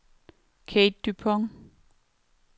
Kathe Dupont